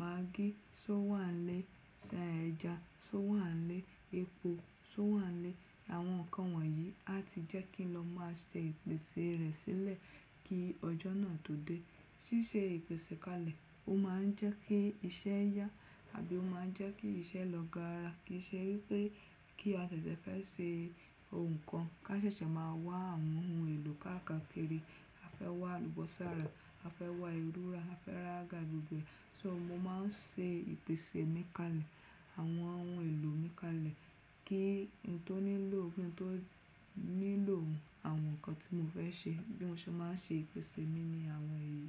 maggi, só wàá ilé ṣan ẹja, só wàá ilé epo, só wàá ilé àwọn nǹkan wọ̀nyí. A ti jẹ́ kí n lọ máa ṣe ìpèsè rẹ̀ sílẹ̀ kí ọjọ́ náà tó dé. Ṣíṣe ìpèsè kalẹ̀, ó máa ń jẹ́ kí iṣẹ́ yá tàbí ó máa ń jẹ́ kí iṣẹ́ lọ gaara. Kì í ṣe wípé kí a ṣẹ̀ṣẹ̀ fẹ́ ṣe ohun kan ká ṣẹ̀ṣẹ̀ máa wá àwọn ohun èlò káàkiri. A fẹ́ wá àlùbọ́sà ra, a fẹ́ wá ìru ra, a fẹ́ ra àga gbígbẹ. So mo máa ń ṣe ìpèsè mi kalẹ̀, àwọn ohun èlò mi kalẹ̀ kí n tó nílò ó bí n tó nílò àwọn nǹkan tí mo fẹ́ ṣe. Bí mo ṣe máa ń ṣe ìpèsè mi ni àwọn èyí.